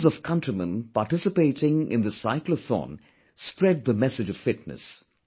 Millions of countrymen participating in this Cyclothon spread the message of fitness